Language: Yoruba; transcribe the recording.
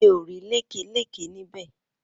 Mi ò rí lékè lékè níbè.